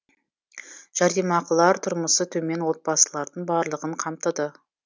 жәрдемақылар тұрмысы төмен отбасылардың барлығын қамтыды